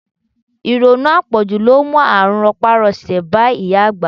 Ìrònú apoju ló mú àrùn ropa-rose bá ìyá àgbà.